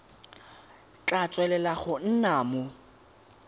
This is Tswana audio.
tla tswelela go nna mo